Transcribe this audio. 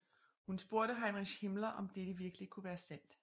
Hun spurgte Heinrich Himmler om dette virkelig kunne være sandt